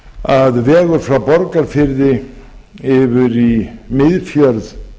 að vegur frá borgarfirði yfir í miðfjörð